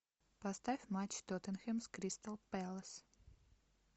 поставь матч тоттенхэм с кристал пэлас